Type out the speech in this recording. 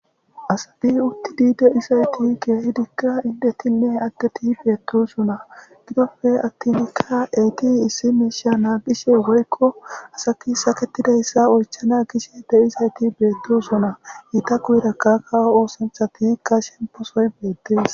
Asabi uttidi deisayti keehidikka indetinne agdeti beettosona gidofe attinkka eyti issi miisha naagishe woykko asaki saketidayssa oychana gishe de'isayti beettosona iita guyrakka kawo oosantha tikka shemposoy beettes